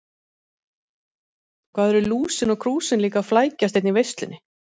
Hvað eru Lúsin og Krúsin líka að flækjast hérna í veislunni.